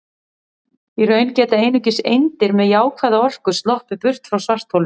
Í raun geta einungis eindir með jákvæða orku sloppið burt frá svartholinu.